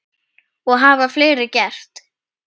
Og það hafa fleiri gert.